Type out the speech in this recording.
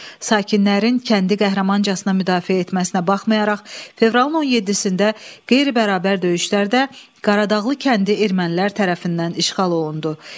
Sakinlərin kəndi qəhrəmancasına müdafiə etməsinə baxmayaraq, fevralın 17-də qeyri-bərabər döyüşlərdə Qaradağlı kəndi ermənilər tərəfindən işğal olundu.